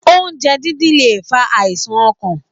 Oúnjẹ dídín lè fa àìsàn ọkàn.